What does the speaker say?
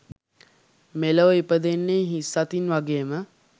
මෙලොව ඉපදෙන්නේ හිස් අතින් වගේම